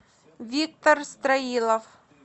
виктор строилов